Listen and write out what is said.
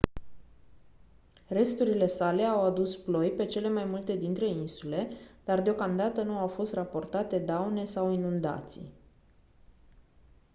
resturile sale au adus ploi pe cele mai multe dintre insule dar deocamdată nu au fost raportate daune sau inundații